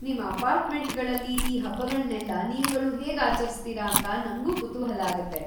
ನಿಮ್ಮ ಅಪಾರ್ಟ್‌ಮೆಂಟ್‌ಗಳಲ್ಲಿ ಈ ಹಬ್ಬಗಳ್ನೆಲ್ಲ ನೀವ್ಗಳು ಹೇಗ್ ಆಚರಿಸ್ತೀರ ಅಂತ ನಂಗೂ ಕುತೂಹಲ ಆಗತ್ತೆ.